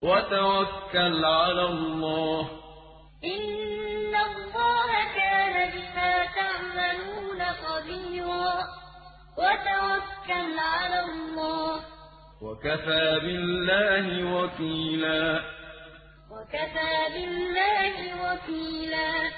وَتَوَكَّلْ عَلَى اللَّهِ ۚ وَكَفَىٰ بِاللَّهِ وَكِيلًا وَتَوَكَّلْ عَلَى اللَّهِ ۚ وَكَفَىٰ بِاللَّهِ وَكِيلًا